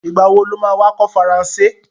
Ìgbà wo lo má wá kọ́ Faransé?